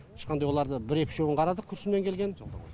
ешқандай оларды бір екі үшеуін ғана қарады күршімнен келген